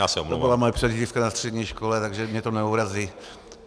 To byla moje přezdívka na střední škole, takže mě to neurazí.